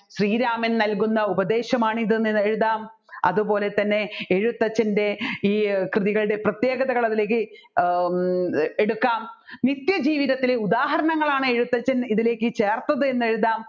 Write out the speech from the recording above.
ശ്രീരാമൻ നല്കുന്ന ഉപദേശമാണ് ഇതെന്ന് എഴുതാം അതുപോലെ തന്നെ എഴുത്തച്ഛൻെറ ഈ കൃതികളുടെ പ്രത്യേകതകൾ അതിലേക്ക് ഹും എടുക്കാം നിത്യജീവിതത്തിലെ ഉദാഹരണങ്ങളാണ് എഴുത്തച്ഛൻ ഇതിലേക്ക് ചേർത്തതെന്ന് എഴുതാം